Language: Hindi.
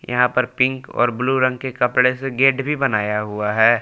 यहां पर पिंक और ब्ल्यू रंग के कपड़े से गेट भी बनाया हुआ है।